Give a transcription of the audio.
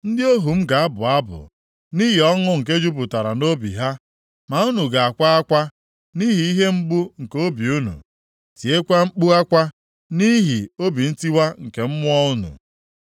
Ndị ohu m ga-abụ abụ nʼihi ọṅụ nke jupụtara nʼobi ha, ma unu ga-akwa akwa, nʼihi ihe mgbu nke obi unu, tiekwa mkpu akwa nʼihi obi ntiwa nke mmụọ unu.